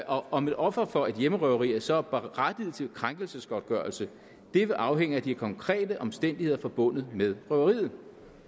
om et offer for et hjemmerøveri så er berettiget til en krænkelsesgodtgørelse det vil afhænge af de konkrete omstændigheder forbundet med røveriet